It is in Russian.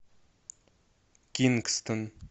кингстон